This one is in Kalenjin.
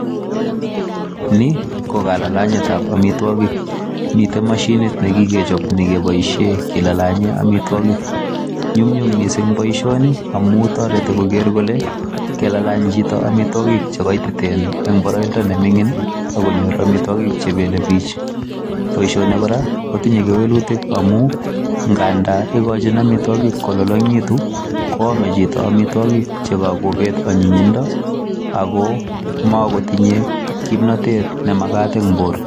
Ni ko kalalanyetab amitwogik. Mitei mashinit ne kikechop, nekeboisie kilalanye amitwogk. Nyum nyum missing boisoni, amu toreti koker kole, kelalany chito amitwogik che kaititen eng' boroindo ne ming'in, akonyor amitwogik che belebich. Boisoni kora, kotinye kewelutik amu nganda ikochin amitwogik kolalalngitu, koame chito amitwogik che kakobet anyinyindo. Ago magotinye kimnatet ne magat eng' borto